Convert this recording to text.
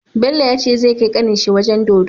Bello yace zai kai kanin shi wajan dodo